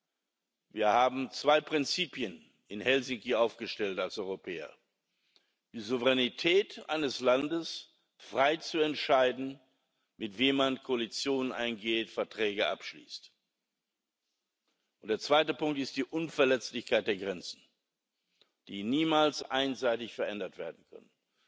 Wir haben in Helsinki als Europäer zwei Prinzipien aufgestellt die Souveränität eines Landes, frei zu entscheiden, mit wem man Koalitionen eingeht, Verträge abschließt, und der zweite Punkt ist die Unverletzlichkeit der Grenzen, die niemals einseitig verändert werden können.